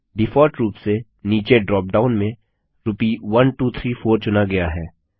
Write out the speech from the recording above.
default रुप से नीचे ड्रॉपडाउन में रूपी 1234 चुना गया है